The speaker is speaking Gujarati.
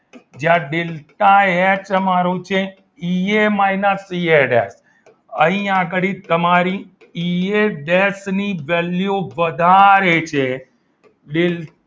જ્યાં ડેલ્ટા એચ મારું છે ઈ એ માઈનસ અહીં આગળ તમારી ઈ એડ્રેસ ની value વધારે છે ડેલ્ટા